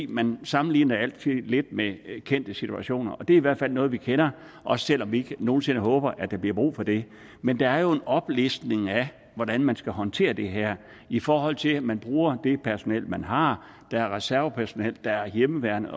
man sammenligner det altid lidt med kendte situationer og det er i hvert fald noget vi kender også selv om vi nogen sinde håber at der bliver brug for det men der er jo en oplistning af hvordan man skal håndtere det her i forhold til at man bruger det personnel man har der er reservepersonnel der er hjemmeværnet